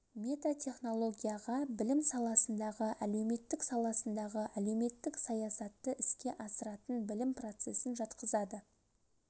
метатехнологияға білім саласындағы әлеуметтік саласындағы әлеуметтік саясатты іске астыратын білім процесін жатқызады